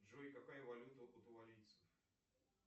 джой какая валюта у кутуарийцев